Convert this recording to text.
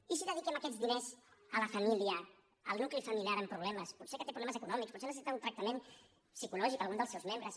i si dediquem aquests diners a la família al nucli familiar amb problemes potser que té problemes econòmics potser necessita un tractament psicològic algun dels seus membres